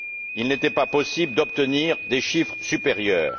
Il n'était pas possible d'obtenir des chiffres supérieurs.